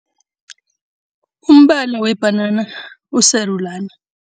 Umbala webhanana usarulani.